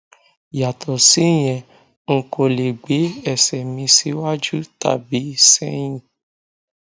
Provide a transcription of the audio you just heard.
yàtọ síyẹn n kò lè gbé ẹsẹ mi síwájú tàbí sẹyìn